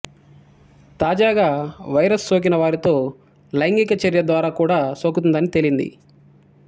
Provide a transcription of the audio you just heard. తాజాగా వైరస్ సోకిన వారితో లైంగిక చర్య ద్వారా కూడా సోకుతుందని తేలింది